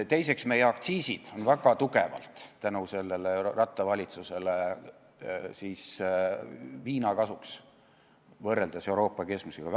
Teiseks, meie aktsiisid on väga tugevalt tänu sellele Ratase valitsusele viina kasuks – jälle võrreldes Euroopa keskmisega.